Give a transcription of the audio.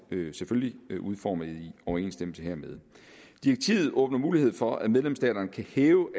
udformet i overensstemmelse hermed direktivet åbner mulighed for at medlemsstaterne kan hæve